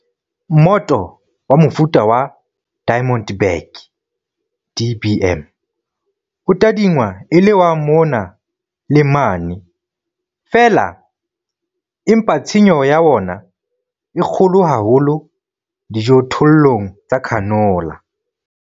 Mmoto wa mofuta wa Diamond back, DBM, o tadingwa e le wa mona le mane feela empa tshenyo ya wona e kgolo haholo dijothollong tsa canola.